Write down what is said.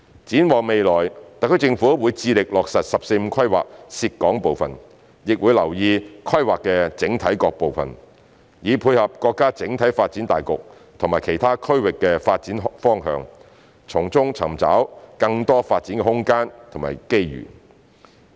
展望未來，特區政府會致力落實"十四五"規劃涉港部分，亦會留意規劃的整體各部分，以配合國家整體發展大局及其他區域的發展方向，從中尋找更多發展空間及機遇。